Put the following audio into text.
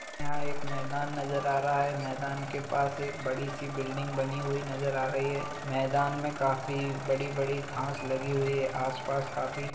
यहाँ एक मैदान नजर आ रहा है । मैदान के पास एक बड़ी सी बिल्डिंग बनी हुई नजर आ रही है । मैदान में काफी बड़ी बड़ी घास लगी हुई है आसपास काफी --